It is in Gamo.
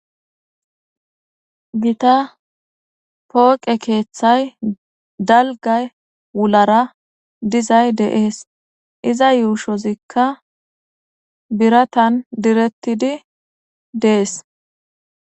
Gita pooqe keethay dalga wulara dizays beetees. Iza yuushozika biratan diretidi dees.